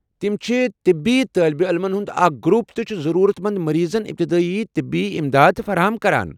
تم چھ طبی طٲلبہ عٔلمن ہٗنٛد اکھ گروپ تہٕ چھِ ضرورت مند مریضن ابتدٲیی طبی امداد فراہم کران۔